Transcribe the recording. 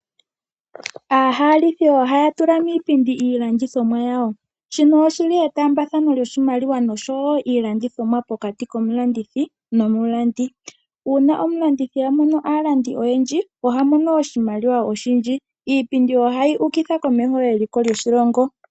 Aahalithi ohaya tula miipindi iilandithomwa yawo, shino oshili etaambathano lyoshimaliwa noshowo iilandithomwa pokati komulandithi nomulandi. Uuna omulandithi amono aalandi oyendji, oha mono oshimaliwa oshindji. Iipindi ohayi ukitha komeho eliko lyoshilongo.